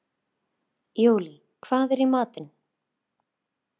Júlí, hvað er í matinn?